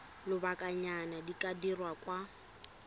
lobakanyana di ka dirwa kwa